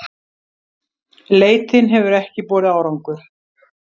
Leitin hefur ekki borið árangur